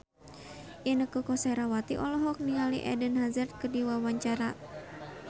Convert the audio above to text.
Inneke Koesherawati olohok ningali Eden Hazard keur diwawancara